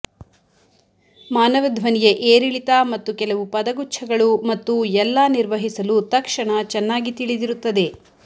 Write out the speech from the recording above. ಮಾನವ ಧ್ವನಿಯ ಏರಿಳಿತ ಮತ್ತು ಕೆಲವು ಪದಗುಚ್ಛಗಳು ಮತ್ತು ಎಲ್ಲಾ ನಿರ್ವಹಿಸಲು ತಕ್ಷಣ ಚೆನ್ನಾಗಿ ತಿಳಿದಿರುತ್ತದೆ